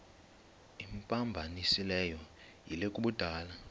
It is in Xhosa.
imphambanisileyo yile yokubulala